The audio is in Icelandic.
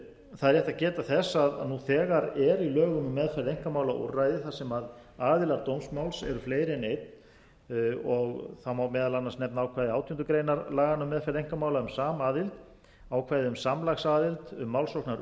það er rétt að geta þess að nú þegar er í lögum um meðferð einkamála úrræði þar sem aðilar dómsmáls eru fleiri en einn má meðal annars nefna ákvæði átjándu grein laganna um meðferð einkamála um samaðild ákvæði um samlagsaðild